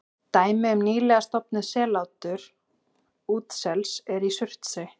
Dæmi um nýlega stofnað sellátur útsels er í Surtsey.